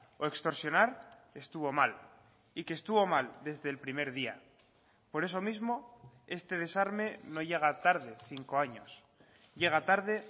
o extorsionar estuvo mal y que estuvo mal desde el primer día por eso mismo este desarme no llega tarde cinco años llega tarde